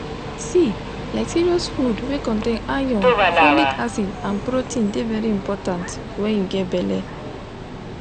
see like serious food wey contain iron folic acid and protein de very important when you get belle